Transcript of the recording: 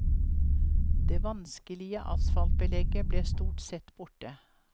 Det vanskelige asfaltbelegget ble stort sett borte.